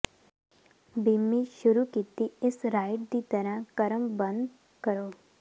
ਬਿੱਮੀ ਸ਼ੁਰੂ ਕੀਤੀ ਇਸ ਰਾਈਡ ਦੀ ਤਰਾਂ ਕ੍ਰਮਬੱਧ ਕਰੋ